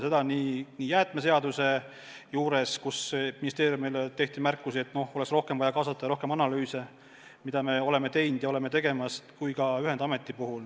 Seda nii jäätmeseaduse puhul, mille kohta ministeeriumile tehti märkusi, et oleks vaja rohkem kaasata ja rohkem analüüse teha – me olemegi neid teinud ja teeme veel –, kui ühendameti puhul.